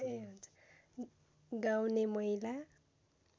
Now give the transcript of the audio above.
गाउने महिला